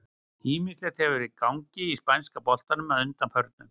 Ýmislegt hefur verið í gangi í spænska boltanum að undanförnu.